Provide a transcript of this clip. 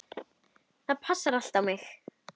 Það passaði allt á mig.